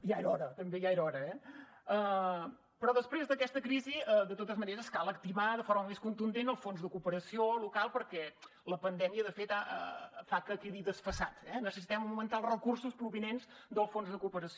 ja era hora també ja era hora eh però després d’aquesta crisi de totes maneres cal activar de forma més contundent el fons de cooperació local perquè la pandèmia de fet fa que quedi desfasat eh necessitem augmentar els recursos provinents del fons de cooperació